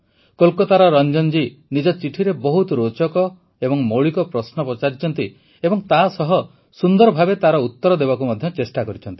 କୋଲକାତାର ରଂଜନ ଜୀ ନିଜ ଚିଠିରେ ବହୁତ ରୋଚକ ଓ ମୌଳିକ ପ୍ରଶ୍ନ ପଚାରିଛନ୍ତି ଏବଂ ତାସହ ସୁନ୍ଦର ଭାବେ ତାର ଉତର ଦେବାକୁ ମଧ୍ୟ ଚେଷ୍ଟା କରିଛନ୍ତି